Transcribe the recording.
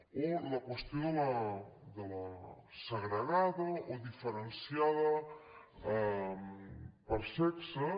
o la qüestió de la segregada o diferenciada per sexes